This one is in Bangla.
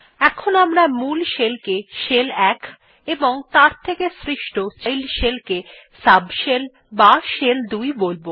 এখন আমরা মূল শেল কে শেল ১ এবং তার থেকে সৃষ্ট চাইল্ড শেলকে সাবশেল অথবা শেল ২ বোলব